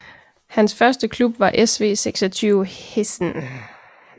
Hans første klub var SV 26 Heessen